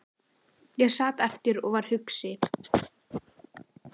Ég sat eftir og var hugsi.